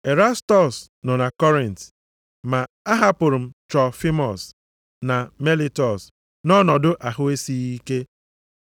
Erastọs nọ na Kọrint, ma ahapụrụ m Trofimọs na Melitọs nʼọnọdụ ahụ esighị ike.